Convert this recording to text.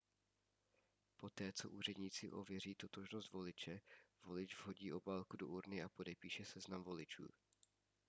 poté co úředníci ověří totožnost voliče volič vhodí obálku do urny a podepíše seznam voličů